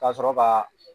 Ka sɔrɔ ka